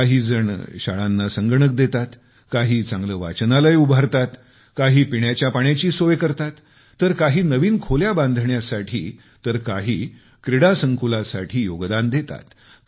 काही संगणकीकृत करण्यासाठी व्यवस्था स्थापित करतात काही चांगले वाचनालय उभारतात काही पिण्याच्या पाण्याची सोय करतात तर काही नवीन खोल्या बांधण्यासाठी तर काही क्रीडा संकुलासाठी योगदान देतात